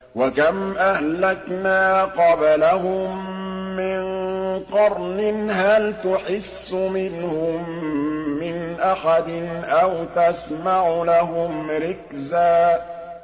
وَكَمْ أَهْلَكْنَا قَبْلَهُم مِّن قَرْنٍ هَلْ تُحِسُّ مِنْهُم مِّنْ أَحَدٍ أَوْ تَسْمَعُ لَهُمْ رِكْزًا